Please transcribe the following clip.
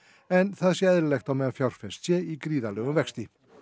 en það sé eðlilegt á meðan fjárfest sé í gríðarlegum vexti